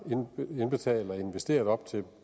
indbetalt og investeret op til